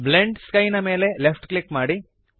blend sky ದ ಮೇಲೆ left click ಮಾಡಿರಿ